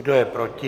Kdo je proti?